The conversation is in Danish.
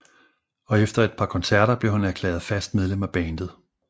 Og efter et par koncerter blev han erklæret fast medlem af bandet